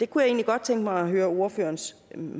kunne egentlig godt tænke mig at høre ordførerens